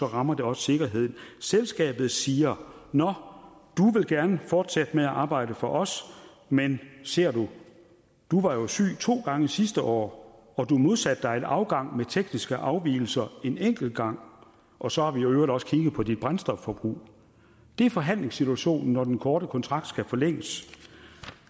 rammer det også sikkerheden selskabet siger nå du vil gerne fortsætte med at arbejde for os men ser du du var jo syg to gange sidste år og du modsatte dig en afgang med tekniske afvigelser en enkelt gang og så har vi i øvrigt også kigget på dit brændstofforbrug det er forhandlingssituationen når den korte kontrakt skal forlænges